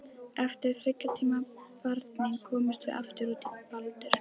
Eftir þriggja tíma barning komumst við aftur út í Baldur.